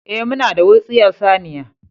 Eh, muna da wutsiyar saniya